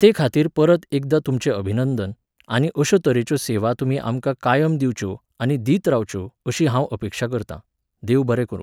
तेखातीर परत एकदां तुमचें अभिनंदन, आनी अश्यो तरेच्यो सेवा तुमी आमकां कायम दिवच्यो आनी दीत रावच्यो अशीं हांव अपेक्षां करतां. देव बरें करूं